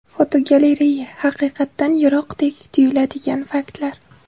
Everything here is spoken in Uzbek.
Fotogalereya: Haqiqatdan yiroqdek tuyuladigan faktlar.